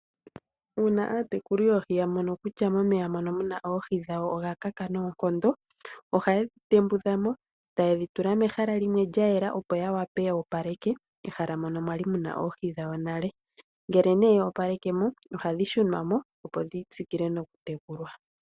Uuna aatekuli yoohi ya mono kutya momeya mono mu na oohi dhawo oga kaka noonkondo ohaye dhi tembudha mo taye dhi tula mehala limwe lya yela, opo ya wape yo opaleke ehala mono mwa li mu na oohi dhawo nale. Ngele nee yo opaleke mo ohadhi shunwa mo, opo dhi tsikile nokutekulwa.